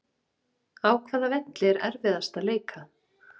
Á hvaða velli er erfiðast að leika?